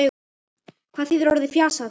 Hvað þýðir orðið fisjað?